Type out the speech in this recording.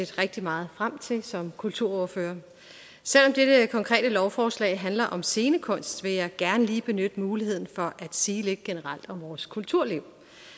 set rigtig meget frem til som kulturordfører selv om dette konkrete lovforslag handler om scenekunst vil jeg gerne lige benytte muligheden for at sige lidt generelt om vores kulturliv